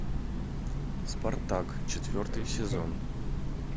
спартак четвертый сезон